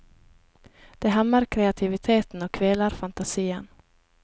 Det hemmer kreativiteten og kveler fantasien.